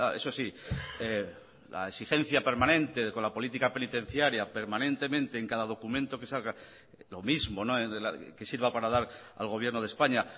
eso sí la exigencia permanente con la política penitenciaria permanentemente en cada documento que salga lo mismo que sirva para dar al gobierno de españa